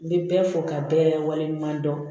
N bɛ bɛɛ fɔ ka bɛɛ lawaleɲuman dɔn